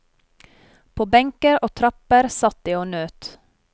På benker og trapper satt de og nøt.